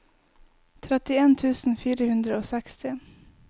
trettien tusen fire hundre og seksti